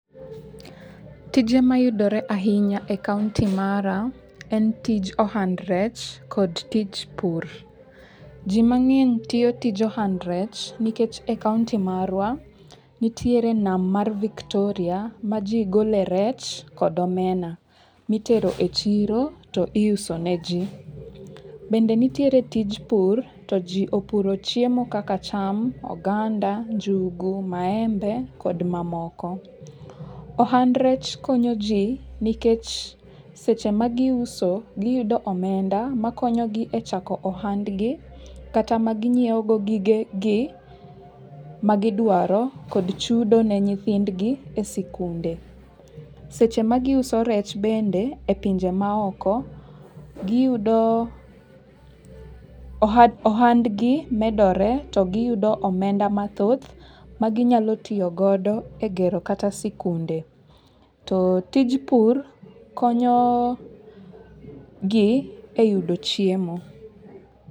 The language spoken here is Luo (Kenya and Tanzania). Tije mayudore ahinya e kaonti mara, en tij ohand rech kod tij pur. Ji mang'eny tiyo tij ohand rech nikech e kaonti marwa, nitiere nam mar Victoria ma ji gole rech kod omena, mitero e chiro to iuso ne ji. Bende nitiere tij pur, to ji opuro chiemo kaka cham, oganda, njugu, maembe kod mamoko. Ohand rech konyo ji nikech, seche ma giuso, giyudo omenda, makonyo gi e chako ohand gi, kata ma ginyiewo go gige gi ma gidwaro, kod chudo ne nyithindgi e sikunde. Seche ma giuso rech bende, e pinje ma oko, giyudo, ohandgi medore to giyudo omenda mathoth ma ginyalo tiyo godo e gero kata sikunde. To tij pur konyo gi e yudo chiemo.